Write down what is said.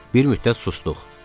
Bir müddət susduq.